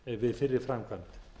við fyrri framkvæmd